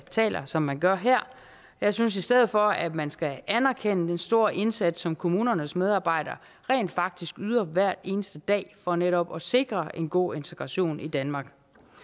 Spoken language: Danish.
taler som man gør her jeg synes i stedet for at man skal anerkende den store indsats som kommunernes medarbejdere rent faktisk yder hver eneste dag for netop at sikre en god integration i danmark